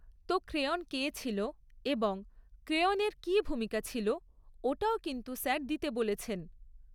তো ক্রেওণ কে ছিল এবং ক্রেওণের কী ভূমিকা ছিল ওটাও কিন্তু স্যার দিতে বলেছেন